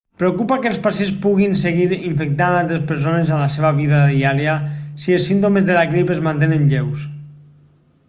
preocupa que els pacients puguin seguir infectant altres persones amb la seva vida diària si els símptomes de la grip es mantenen lleus